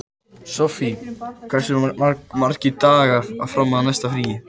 Sofie, hversu margir dagar fram að næsta fríi?